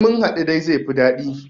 Sai munhaɗu dai zaifi daɗi